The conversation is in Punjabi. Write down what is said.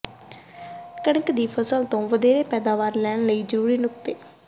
ਕਣਕ ਦੀ ਫ਼ਸਲ ਤੋਂ ਵਧੇਰੇ ਪੈਦਾਵਾਰ ਲੈਣ ਲਈ ਜ਼ਰੂਰੀ ਨੁਕਤੇ